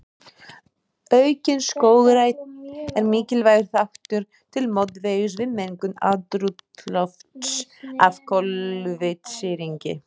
Aukin skógrækt er mikilvægur þáttur til mótvægis við mengun andrúmslofts af koltvísýringi.